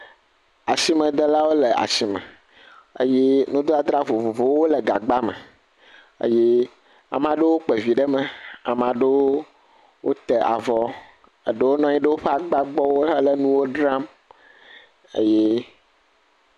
Asimedelawo le asime eye nudadra vovovowo le gagba me. Eye ame aɖewo kpe vi ɖe me. Ame aɖewo ta vɔ, eɖewo nɔ anyi ɖe woƒe agbawo gbɔ hele nuwo dzram eye….